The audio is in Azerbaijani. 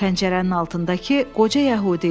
Pəncərənin altındakı qoca yəhudi idi.